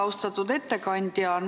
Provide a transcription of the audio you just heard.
Austatud ettekandja!